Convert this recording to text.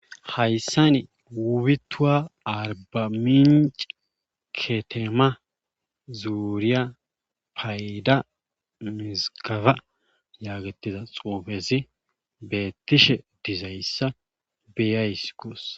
Hayssan wubituwa arbaminc ketema zuuriya payida mizgafa yaagetiza xoofezi beettishe dizayssa beyays gos.